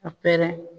A pɛrɛn